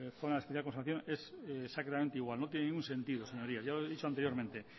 zona de especial conservación es exactamente igual no tienen ningún sentido señorías ya lo he dicho anteriormente